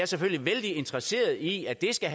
selvfølgelig vældig interesseret i at det skal